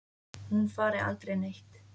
Hún fari aldrei neitt.